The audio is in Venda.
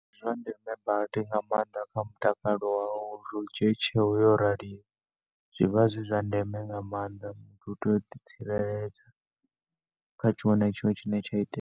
Ndi zwa ndeme badi nga maanḓa kha mutakalo wau uri u dzhie tsheo yo raliho. Zwivha zwi zwa ndeme nga maanḓa muthu utea uḓi tsireledza kha tshiṅwe na tshiṅwe tshine tsha itea.